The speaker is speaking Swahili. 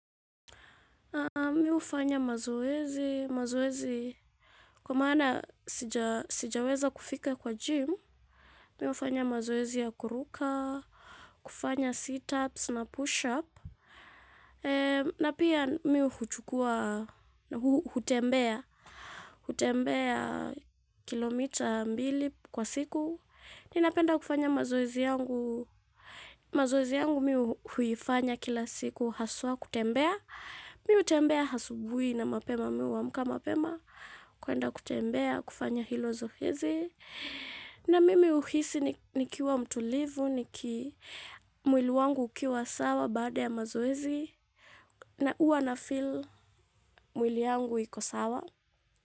Mi ufanya mazoezi, mazoezi kwa maana sijaweza kufika kwa gym, mi ufanya mazoezi ya kuruka, kufanya sit ups na push up, na pia mi huchukua, hutembea, hutembea kilomita mbili kwa siku. Ninapenda kufanya mazoezi yangu, mazoezi yangu mi huifanya kila siku, haswa kutembea, mi hutembea asubui na mapema mi huamka mapema, kuenda kutembea kufanya hilo zoezi. Na mimi huhisi nikiwa mtulivu mwili wangu ukiwa sawa baada ya mazoezi na huwa nafeel mwili yangu iko sawa.